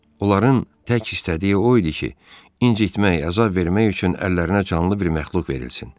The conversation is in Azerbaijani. Onların tək istədiyi o idi ki, incitmək, əzab vermək üçün əllərinə canlı bir məxluq verilsin.